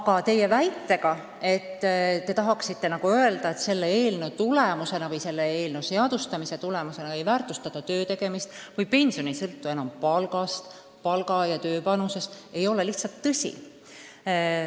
Aga teie väide, mida te nagu tahate öelda, et selle eelnõu seadustamise tulemusena ei väärtustata töötegemist või et pension ei sõltu enam palgast, ei ole lihtsalt tõsi.